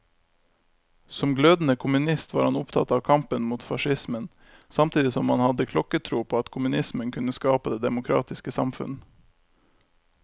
Som glødende kommunist var han opptatt av kampen mot facismen, samtidig som han hadde klokketro på at kommunismen kunne skape det demokratiske samfunn.